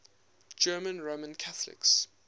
german roman catholics